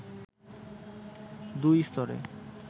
দুই স্তরের